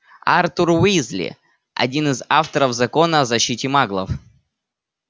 артур уизли один из авторов закона о защите маглов